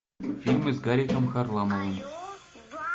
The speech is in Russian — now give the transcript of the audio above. фильмы с гариком харламовым